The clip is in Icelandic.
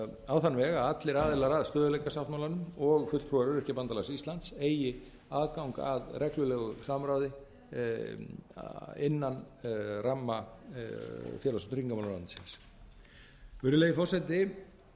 á þann veg að allir aðilar að stöðugleikasáttmálanum og fulltrúar öryrkjabandalags íslands eigi aðgang að reglulegu samráði innan ramma félags og tryggingamálaráðuneytisins virðulegi forseti